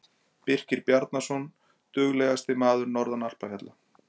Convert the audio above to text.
Birkir Bjarnason- Duglegasti maður norðan alpafjalla.